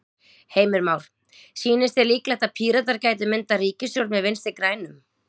Heimir Már: Sýnist þér líklegt að Píratar gætu myndað ríkisstjórn með Vinstri-grænum?